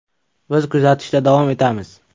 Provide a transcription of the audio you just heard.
Biz kuzatishda davom etamiz.